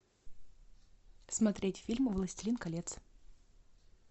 смотреть фильм властелин колец